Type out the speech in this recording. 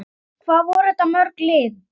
Hvað voru þetta mörg lið?